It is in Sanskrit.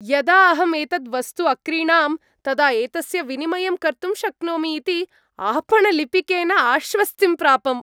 यदा अहं एतत् वस्तु अक्रीणाम्, तदा एतस्य विनिमयं कर्तुं शक्नोमि इति आपणलिपिकेन आश्वस्तिं प्रापम्।